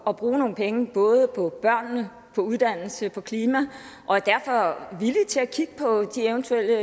at bruge nogle penge på både børnene uddannelse og klima og er derfor villige til at kigge på de eventuelle